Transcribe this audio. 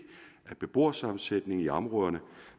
af beboersammensætningen i områderne